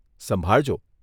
સંભાળજો.